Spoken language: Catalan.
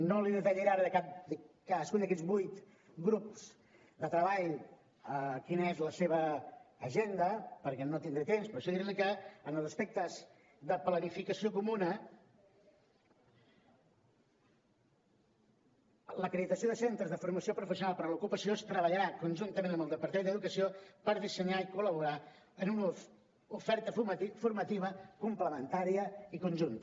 no li detallaré ara de cadascun d’aquests vuit grups de treball quina és la seva agenda perquè no tindré temps però sí dir li que en els aspectes de planificació comuna l’acreditació de centres de formació professional per a l’ocupació es treballarà conjuntament amb el departament d’educació per dissenyar i col·laborar en una oferta formativa complementària i conjunta